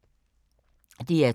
DR2